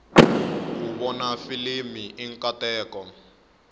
ku vona filimi i nkateko